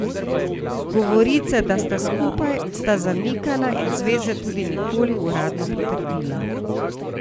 Govorice, da sta skupaj, sta zanikala in zveze tudi nikoli uradno potrdila.